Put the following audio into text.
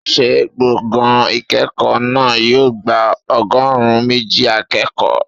Ṣé gbọ̀ngàn ìkẹ́kọ̀ọ́ náà yóò gba ọgọ́rùn-ún méjì akẹ́kọ̀ọ́?